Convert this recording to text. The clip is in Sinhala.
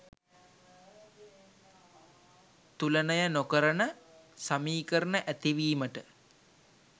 තුලනය නොකරන සමීකරණ ඇති වීමට